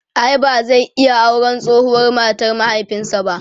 ai ba zai iya auran tsohuwar matar mahaifinsa ba?